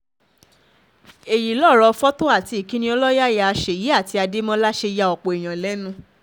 èyí lọ̀rọ̀ fọ́tò àti ìkíni ọlọ́yàyà ṣèyí àti adémọlá ṣe ya ọ̀pọ̀ èèyàn lẹ́nu